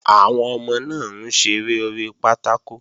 Àwọn ọmọ náà ń ṣeré orí pátákò